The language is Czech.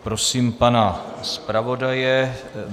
Prosím pana zpravodaje.